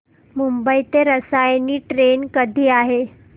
मुंबई ते रसायनी ट्रेन कधी आहे